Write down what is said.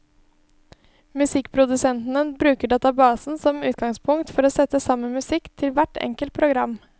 Musikkprodusentene bruker databasene som utgangspunkt for å sette sammen musikk til hvert enkelt program.